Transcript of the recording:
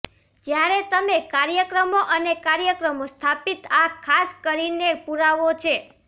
જ્યારે તમે કાર્યક્રમો અને કાર્યક્રમો સ્થાપિત આ ખાસ કરીને પૂરાવો છે